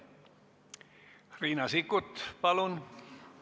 Riina Sikkut, palun!